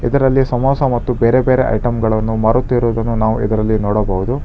ಇದರಲ್ಲಿ ಸಮೋಸ ಮತ್ತು ಬೇರೆ ಬೇರೆ ಐಟಂ ಗಳನ್ನು ಮಾರುತಿರುವುದನ್ನು ನಾವು ಇದರಲ್ಲಿ ನೋಡಬಹುದು.